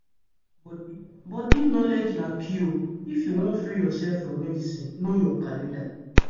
body body knowledge na key o. if you wan free yourself from medicine know your calendar